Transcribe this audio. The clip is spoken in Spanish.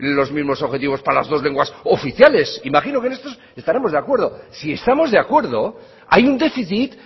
los mismos objetivos para las dos lenguas oficiales imagino que en esto estaremos de acuerdo si estamos de acuerdo hay un déficit